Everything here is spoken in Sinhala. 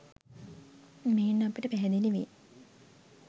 මෙයින් අපට පැහැදිලි වේ